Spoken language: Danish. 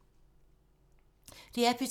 DR P2